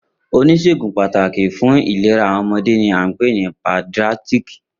Onisegun pataki fun ilera awọn ọmọde ni a npe ni paediatric.